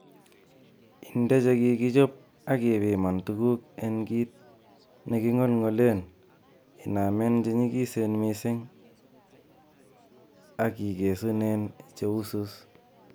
Inde chekikechob ak ipiman tuguk en kit nekingolngolen inamen che nyikisen missing ak ikesunen che usus.